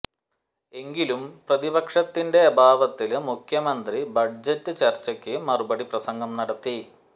എങ്കിലും പ്രതിപക്ഷത്തിന്റെ അഭാവത്തില് മുഖ്യമന്ത്രി ബജറ്റ് ചര്ച്ചയ്ക്കു മറുപടി പ്രസംഗം നടത്തി